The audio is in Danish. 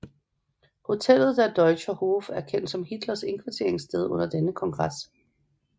Hotellet Der Deutscher Hof er kendt som Hitlers indkvarteringssted under denne kongres